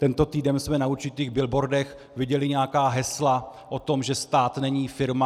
Tento týden jsme na určitých billboardech viděli nějaká hesla o tom, že stát není firma.